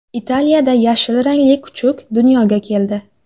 Italiyada yashil rangli kuchuk dunyoga keldi .